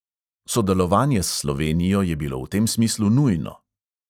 Sodelovanje s slovenijo je bilo v tem smislu nujno.